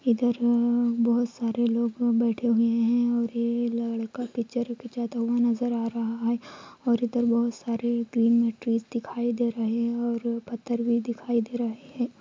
ईधर बहुत सारे लोग बैठे हुए हे और ये लड़का पिक्चर खींचता हुआ नजर आ रहा हैं और इधर बहुत सारे ग्रीन मैट्रीज दिखाई दे रहे हैं पत्थर भी दिखाई दे रहें हैं।